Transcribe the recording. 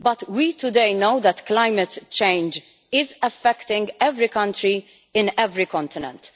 We know today that climate change is affecting every country in every continent.